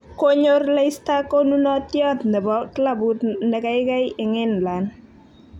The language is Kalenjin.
Konyor Leicester konunotiot ne bo klabut ne kaigai eng England.